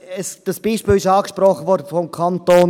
Das Beispiel des Kantons Graubünden wurde angesprochen.